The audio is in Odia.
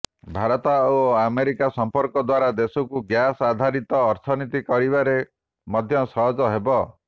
ଭାରତ ଓ ଆମେରିକା ସମ୍ପର୍କ ଦ୍ୱାରା ଦେଶକୁ ଗ୍ୟାସ ଆଧାରିତ ଅର୍ଥନୀତି କରିବାରେ ମଧ୍ୟ ସହଜ ହେବ